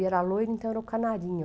E era loiro, então era o Canarinho.